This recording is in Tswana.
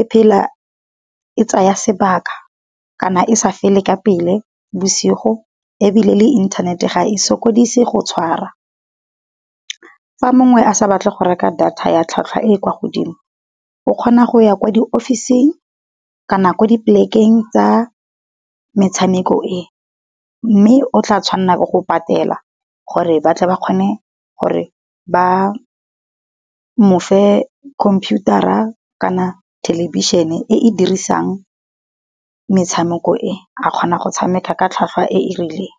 e phela e tsaya sebaka, kana e sa fele ka pele bosigo ebile le inthanete ga e sokodise go tshwara. Fa mongwe a sa batle go reka data ya tlhwatlhwa e kwa godimo, o kgona go ya kwa di ofising. Kana kwa di polekeng tsa metshameko e, mme o tla tshwanela ke go patela gore batle ba kgone gore ba mofe khomphiutara kana thelebišhene e e dirisang metshameko e a kgona go tshameka ka tlhwatlhwa e e rileng.